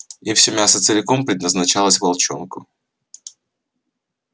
и всё мясо целиком предназначалось волчонку